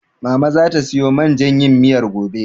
Mama zata siyo man jan yin miyar gobe.